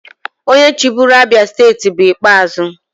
Onye chịburu Abia steeti bụ Ikpeazu.